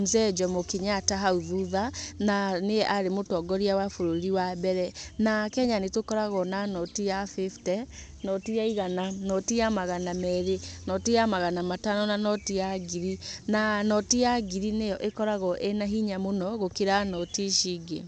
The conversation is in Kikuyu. Mzee Jommo Kenyatta hau thutha nĩ tondũ arĩ mũtongoria wa bũrũri wa mbere. Na Kenya nĩ tũkoragwo na noti ya fifty, noti ya igana, noti ya magana meerĩ, noti ya magana matano na noti ya ngiri. Na noti ya ngiri nĩyo ĩkoragwo ĩrĩ na hinya mũno, gũkĩra noti ici ingĩ.